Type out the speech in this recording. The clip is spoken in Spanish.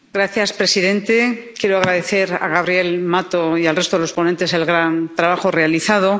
Señor presidente, quiero agradecer a Gabriel Mato y al resto de los ponentes el gran trabajo realizado.